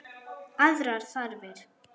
Aðrar þarfir.